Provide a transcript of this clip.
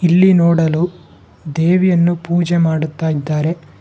ಇಲ್ಲಿ ನೋಡಲು ದೇವಿಯನ್ನು ಪೂಜೆ ಮಾಡುತ್ತಾ ಇದ್ದಾರೆ.